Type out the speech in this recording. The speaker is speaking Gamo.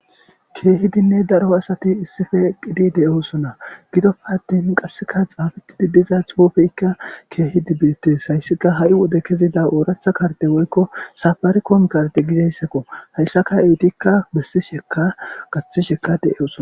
Keehidinne daro asati issippe eqqidi de'osona. Gidoppe attin qasseka oyqqidi diza xuufekka keehidi beetees. Hayssikka ha'i wode kezida ooraththa karde woykko safarikom kardi gizayssako hayssankka eetika besishekka gaththishekka de'osona.